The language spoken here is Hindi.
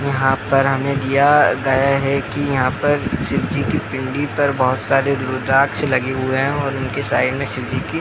यहाँ पर हमे दिया गया है की यहाँ पर शिवजी की पिंडी पर बहुत सारे रुद्राक्ष लगे हुए हैं और उनके साइड में शिवजी की --